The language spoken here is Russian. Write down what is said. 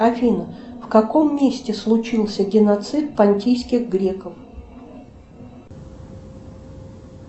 афина в каком месте случился геноцид пантийских греков